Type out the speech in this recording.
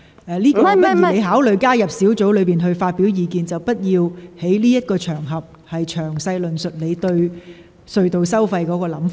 請你考慮加入小組委員會發表意見，而非在這個場合詳細論述你對隧道收費的看法。